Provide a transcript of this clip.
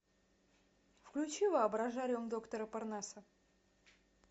включи воображариум доктора парнаса